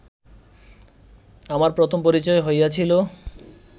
আমার প্রথম পরিচয় হইয়াছিল